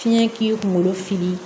Fiɲɛ k'i kungolo fili